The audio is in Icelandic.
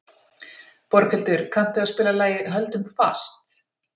Borghildur, kanntu að spila lagið „Höldum fast“?